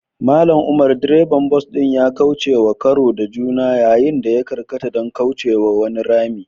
Mallam umar, direban bas ɗin ya kaucewa karo da juna yayin da ya karkata don kaucewa wani rami.